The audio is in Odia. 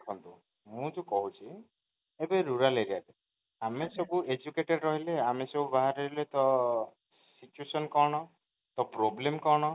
ମୁଁ ଯୋଉ କହୁଛି ଏଇ ଯୋଉ rural area ରେ ଆମେ educated ରହଲେ ଆମେ ସବୁ ବାହାରେ ରହିଲେ ତ situation କଣ, ତ problem କଣ?